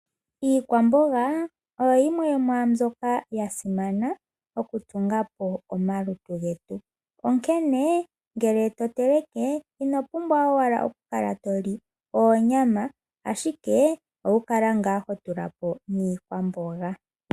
Iikwamboga oyo yimwe yo mwaa mbyoka ya simana okutunga po omalutu getu. Onkene ngele to teleke, ino pumbwa owala okukala to li oonyama, ashike owu kala ngaa ho tula po niikwamboga.